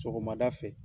Sɔgɔmada fɛ